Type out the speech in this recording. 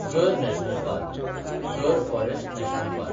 गर national park (Gir forest national park)